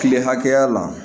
Kile hakɛya la